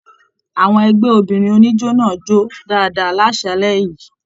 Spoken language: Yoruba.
Àwọn ẹgbẹ obìnrin oníjó náà jó dáadáa l'asalẹ̀ yìí.